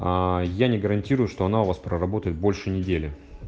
аа я не гарантирую что она у вас проработает больше недели